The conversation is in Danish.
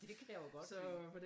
Det kan jeg jo godt se